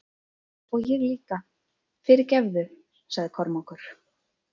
Og ég líka, fyrirgefðu, sagði Kormákur.